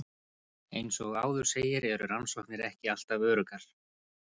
Eins og áður segir eru rannsóknir ekki alltaf öruggar.